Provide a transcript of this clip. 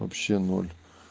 вообще ноль